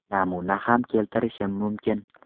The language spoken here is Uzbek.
Namuna ham keltirishim mumkin.